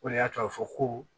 O de y'a to a bɛ fɔ ko